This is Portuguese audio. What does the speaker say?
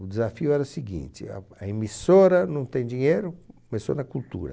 O desafio era o seguinte, a a emissora não tem dinheiro, começou na cultura.